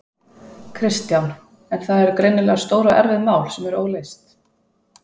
Kristján: En það eru greinilega stór og erfið mál sem eru óleyst?